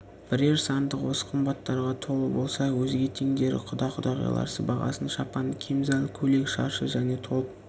бірер сандық осы қымбаттарға толы болса өзге теңдері құда-құдағилар сыбағасы шапан кемзал көйлек шаршы және толып